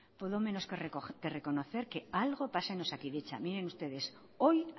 he de reconocer que algo pasa en osakidetza miren ustedes hoy